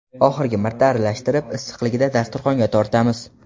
Oxirgi marta aralashtirib, issiqligida dasturxonga tortamiz.